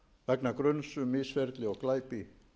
vegna gruns um misferli og glæpi